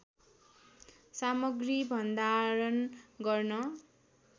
सामग्री भन्डारण गर्न